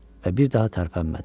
Və bir daha tərpənmədi.